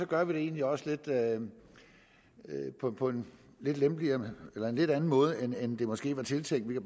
gør vi det egentlig også på på en lidt anden måde end det måske var tænkt vi